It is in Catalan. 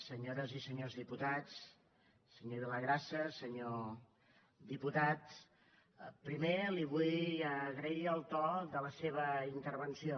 senyores i senyors diputats senyor villagrasa senyor diputat primer li vull agrair el to de la seva intervenció